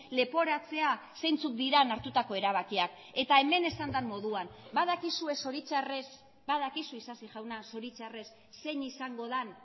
leporatzea zeintzuk diren hartutako erabakiak eta hemen esan den moduan badakizue zoritxarrez badakizu isasi jauna zoritxarrez zein izango den